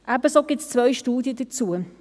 Ebenso gibt es zwei Studien dazu.